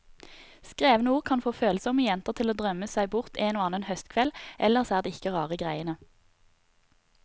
Skrevne ord kan få følsomme jenter til å drømme seg bort en og annen høstkveld, ellers er det ikke rare greiene.